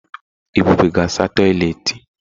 Ebube ga asa toịletị.